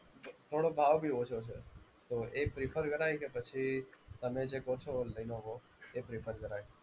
થોડો ભાવભી ઓછો છે. તો એ prefer કરાય કે પછી તમે જે કહો છો લેનોવો એ prefer કરાય.